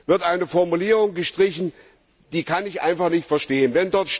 wird eine Formulierung gestrichen, was ich einfach nicht verstehen kann.